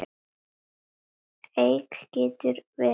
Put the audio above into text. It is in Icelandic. Eik getur verið